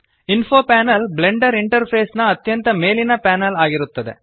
info panel Blender interface ನ ಅತ್ಯಂತ ಮೇಲಿನ ಪ್ಯಾನೆಲ್ ಇರುತ್ತದೆ